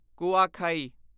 ਕੁਆਖਾਈ